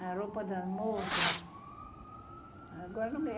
A roupa das moças? agora